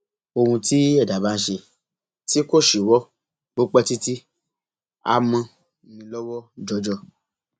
ohun tí ẹdá bá ń ṣe tí kò ṣíwọ bó pẹ títí a mọ ni lọwọ jọjọ